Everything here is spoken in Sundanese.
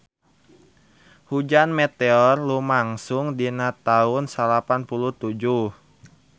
Hujan meteor lumangsung dina taun salapan puluh tujuh